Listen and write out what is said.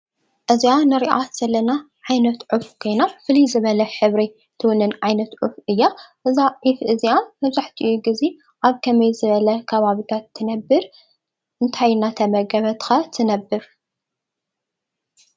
እዚኣ ንሪኣ ዘለና ዓይነት ዑፍ ኮይና ፍልይ ዝበለ ዓይነት ሕብሪ ትውንን ዑፍ እያ። እዛ ዑፍ እዚኣ መብዛሕቲኡ ግዜ ኣብ ከመይ ዝበለ ከባቢታት ትነብር ?እንታይ እንዳተመገበት ከ ትነብር ?